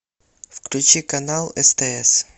включи канал стс